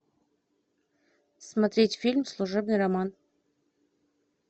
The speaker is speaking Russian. смотреть фильм служебный роман